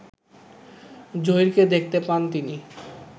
জহীরকে দেখতে পান তিনি